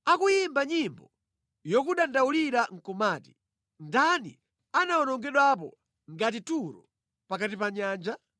Akuyimba nyimbo yokudandaulira nʼkumati: ‘Ndani anawonongedwapo ngati Turo pakati pa nyanja?’